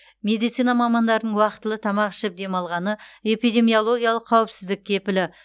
медицина мамандарының уақтылы тамақ ішіп демалғаны эпидемиологиялық қауіпсіздік кепілі